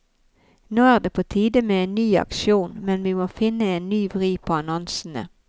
Nå er det på tide med en ny aksjon, men vi må finne en ny vri på annonsene.